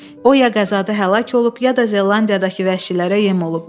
O ya qəzada həlak olub, ya da Zelandiyadakı vəhşilərə yem olub.